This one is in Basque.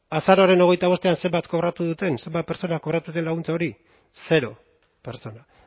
azaroaren hogeita bostean zenbat kobratu duten zenbat pertsona kobratu duten laguntza hori zero pertsona